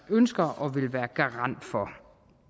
ønsker og vil være garant for